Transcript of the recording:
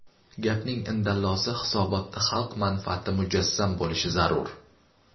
Gapning indallosi, hisobotda xalq manfaati mujassam bo‘lishi zarur.